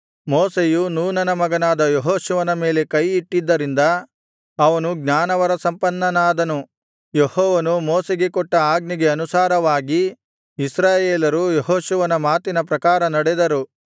ಮೋಶೆಯು ನೂನನ ಮಗನಾದ ಯೆಹೋಶುವನ ಮೇಲೆ ಕೈಯಿಟ್ಟಿದ್ದರಿಂದ ಅವನು ಜ್ಞಾನವರಸಂಪನ್ನನಾದನು ಯೆಹೋವನು ಮೋಶೆಗೆ ಕೊಟ್ಟ ಆಜ್ಞೆಗೆ ಅನುಸಾರವಾಗಿ ಇಸ್ರಾಯೇಲರು ಯೆಹೋಶುವನ ಮಾತಿನ ಪ್ರಕಾರ ನಡೆದರು